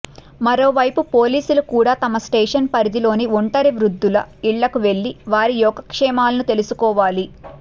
మరోవైపు పోలీసులు కూడా తమ స్టేషన్ పరిధిలోని ఒంటరి వృద్ధుల ఇళ్లకు వెళ్లి వారి యోగక్షేమాలను తెలుసుకోవాలి